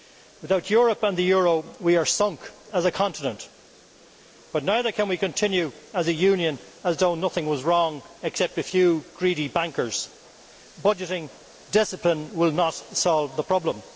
Without Europe and the euro we are sunk as a continent, but neither can we continue as a union as though nothing was wrong except a few greedy bankers budgeting discipline will not solve the problem.